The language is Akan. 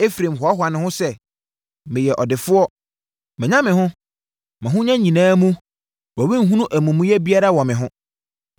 Efraim hoahoa ne ho sɛ, “Meyɛ ɔdefoɔ; manya me ho. Mʼahonya nyinaa mu wɔrenhunu amumuyɛ biara wɔ me ho.”